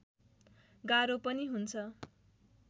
गाह्रो पनि हुन्छ